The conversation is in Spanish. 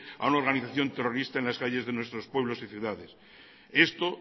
a una organización terrorista en las calles de nuestros pueblos y ciudades esto